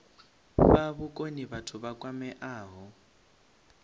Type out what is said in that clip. fha vhukoni vhathu vha kwameaho